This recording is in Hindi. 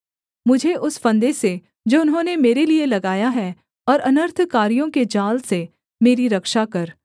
मुझे उस फंदे से जो उन्होंने मेरे लिये लगाया है और अनर्थकारियों के जाल से मेरी रक्षा कर